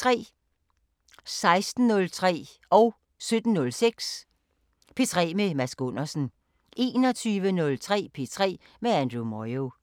16:06: P3 med Mads Gundersen 17:06: P3 med Mads Gundersen 21:03: P3 med Andrew Moyo